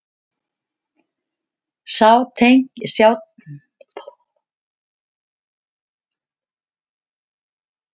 Sjá tengil Það er eitthvað svo rangt við þetta að þetta verður rétt.